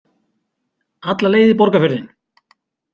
Alla leið í Borgarfjörðinn!